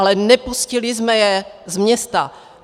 Ale nepustili jsme je z města.